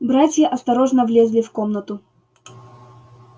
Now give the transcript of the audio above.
братья осторожно влезли в комнату